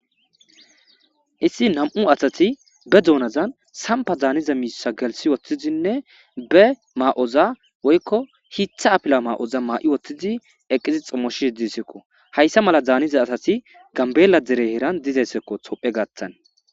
issi nam7u asati be duonazan sampa zaaniza miisa gelsi woththizinne be maa7oza woykko hitha apila maa7oza maa7i woththidi eqqizi xommoshi heddisekko hayssa mala zaaniza asati gambeella dere heeran dizaysekko tophe gaattan